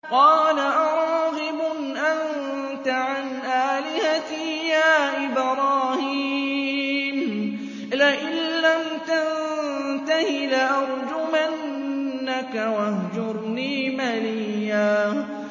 قَالَ أَرَاغِبٌ أَنتَ عَنْ آلِهَتِي يَا إِبْرَاهِيمُ ۖ لَئِن لَّمْ تَنتَهِ لَأَرْجُمَنَّكَ ۖ وَاهْجُرْنِي مَلِيًّا